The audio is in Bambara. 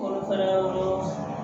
Kɔnɔfara yɔrɔ sa